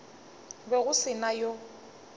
be go se na yo